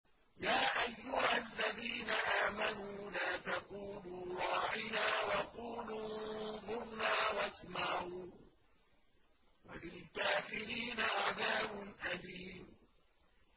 يَا أَيُّهَا الَّذِينَ آمَنُوا لَا تَقُولُوا رَاعِنَا وَقُولُوا انظُرْنَا وَاسْمَعُوا ۗ وَلِلْكَافِرِينَ عَذَابٌ أَلِيمٌ